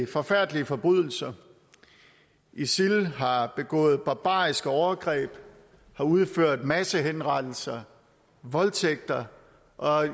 forfærdelige forbrydelser isil har begået barbariske overgreb har udført massehenrettelser voldtægter og